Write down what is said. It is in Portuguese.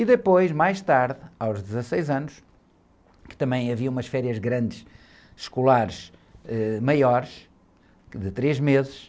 E depois, mais tarde, aos dezesseis anos, que também havia umas férias grandes escolares, ãh, maiores, de três meses,